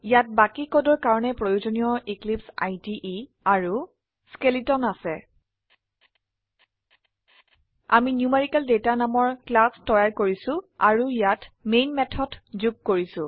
ইয়াত বাকি কোডৰ কাৰনে প্ৰয়োজনীয় এক্লিপছে ইদে আৰু স্কেলিটন আছে আমি নিউমেৰিকেলদাতা নামৰ ক্লাস তৈয়াৰ কৰিছো অৰু ইয়াত মেন মেথড যোগ কৰিছো